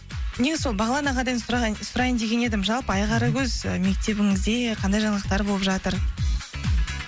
не сол бағлан ағадан сұрайын деген едім жалпы айқаракөз мектебіңізде қандай жаңалықтар болып жатыр